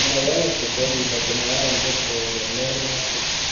Inkogenik chu kokibo chemungoroidet agenge ,Mary Matia